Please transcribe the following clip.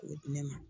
K'o di ne ma